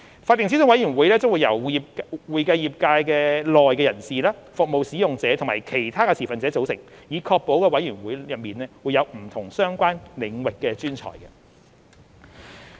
法定諮詢委員會將由會計業界內人士、服務使用者和其他持份者組成，以確保委員會內有不同相關領域的專才。